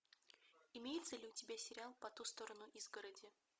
имеется ли у тебя сериал по ту сторону изгороди